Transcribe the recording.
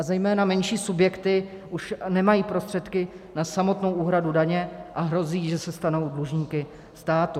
A zejména menší subjekty už nemají prostředky na samotnou úhradu daně a hrozí, že se stanou dlužníky státu.